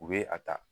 U bɛ a ta